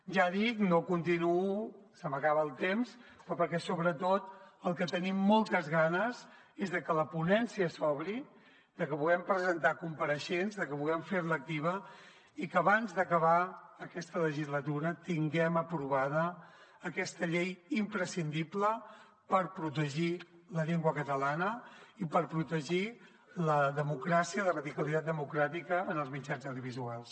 ja ho dic no continuo se m’acaba el temps però perquè sobretot del que tenim moltes ganes és de que la ponència s’obri de que puguem presentar compareixents de que puguem fer la activa i que abans d’acabar aquesta legislatura tinguem aprovada aquesta llei imprescindible per protegir la llengua catalana i per protegir la democràcia i la radicalitat democràtica en els mitjans audiovisuals